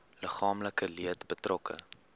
liggaamlike leed betrokke